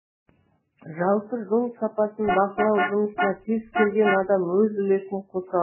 жалпы жол сапасын бақылау жұмысына кез келген адам өз үлесін қоса алады